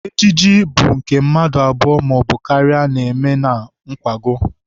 Ejije bụ nke mmadụ abụọ maọbụ karịa na-eme na nkwago.